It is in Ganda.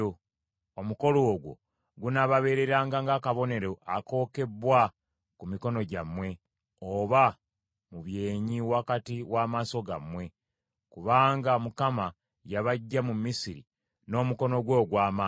Omukolo ogwo gunaababeereranga ng’akabonero akookebbwa ku mikono gyammwe, oba mu byenyi wakati w’amaaso gammwe; kubanga Mukama yabaggya mu Misiri n’omukono gwe ogw’amaanyi.”